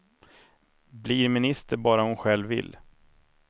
Blir minister bara hon själv vill.